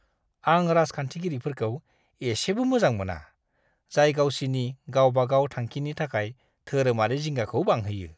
आं राजखान्थिगिरिफोरखौ एसेबो मोजां मोना, जाय गावसिनि गाव-बागाव थांखिनि थाखाय धोरोमारि जिंगाखौ बांहोयो!